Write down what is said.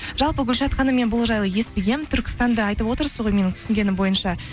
жалпы гүлшат ханым мен бұл жайлы естігенмін түркістанды айтып отырсыз ғой менің түсінгенім бойынша